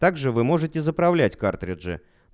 также вы можете заправлять картриджи